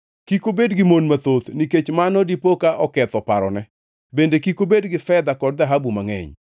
Kik obed gi mon mathoth nikech mano dipoka oketho parone. Bende kik obed gi fedha kod dhahabu mangʼeny.